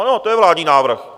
Ano, to je vládní návrh.